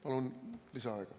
Palun lisaaega.